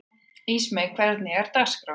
Ísmey, hvernig er dagskráin?